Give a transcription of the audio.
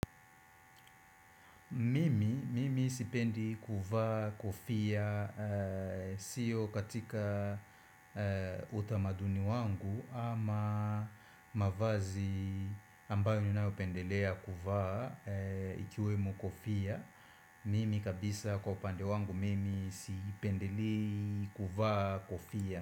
Mimi, mimi sipendi kuvaa kofia siyo katika utamaduni wangu ama mavazi ambayo ninayopendelea kuvaa ikiwemo kofia. Mimi kabisa kwa upande wangu mimi sipendelei kuvaa kofia.